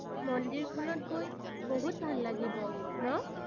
মন্দিৰখনত গৈ বহুত ভাল লাগিব ন?